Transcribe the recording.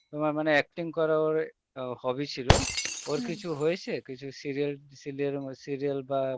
তোমার মানে acting করার ওর hobby ছিল কিছু হয়েছে, কিছু serial serial বা